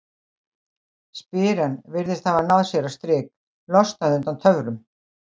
spyr hann, virðist hafa náð sér á strik, losnað undan töfrum